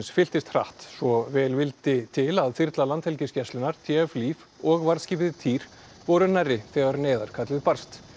fylltist hratt svo vel vildi til að þyrla Landhelgisgæslunnar t f og varðskipið týr voru nærri þegar neyðarkall barst